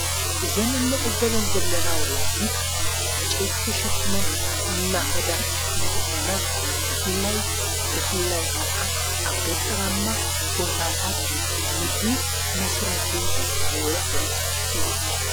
ዘንእንዕዘበን ዘለና ወላዲት ዕንቄይቲ ተሸኪመን እናኸዳ እንተኾና ብፍላይ ብፍላይ ከዓ ኣብ ገጠራ እማ ቦታታት ንምግቢ መሥረኂ ዝውዕል እዩ።